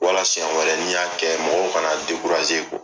Wala senɲɛ wɛrɛ ni y'a kɛ mɔgɔw kana .